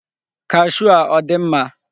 kashuu a ọ dị mma?